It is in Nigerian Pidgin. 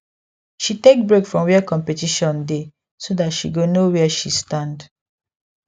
she take break from where competition dey so that she go know where she stand